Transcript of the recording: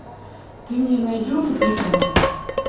ты мне найдешь бригада